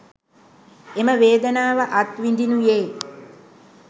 එම වේදනාව අත්විඳීනුයේ